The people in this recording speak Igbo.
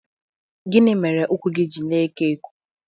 Gịnị mere ụkwụ gị ji na-eko eko?